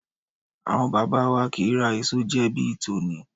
Àwọn bàbá wa kì í ra èso jẹ bí i tòní.